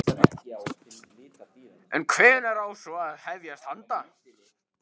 En hvenær á svo að hefjast handa?